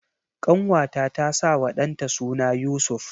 Ƙanwata ta sawa ɗanta suna Yusuf.